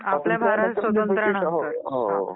*Audio is not unclear